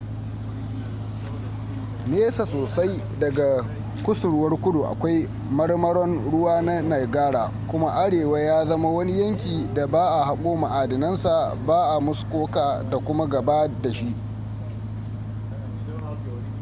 nesa sosai daga kusurwar kudu akwai marmaron ruwa na niagara kuma arewa ya zama wani yankin da ba a hako ma'adinansa ba a muskoka da kuma gaba da shi